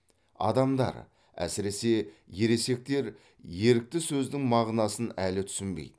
адамдар әсіресе ересектер ерікті сөздің мағынасын әлі түсінбейді